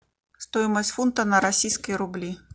стоимость фунта на российские рубли